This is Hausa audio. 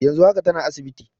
Yanzu haka tana asibiti.